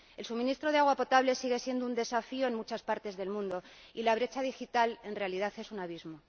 El suministro de agua potable sigue siendo un desafío en muchas partes del mundo y la brecha digital en realidad es un abismo.